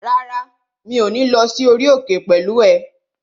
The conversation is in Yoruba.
Rárá, mi ò ní lọ sí orí òkè pẹ̀lú ẹ